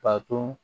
Ka to